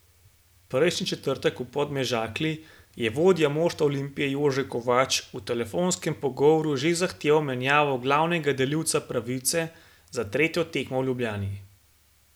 Prejšnji četrtek v Podmežakli je vodja moštva Olimpije Jože Kovač v telefonskem pogovoru že zahteval menjavo glavnega delivca pravice za tretjo tekmo v Ljubljani.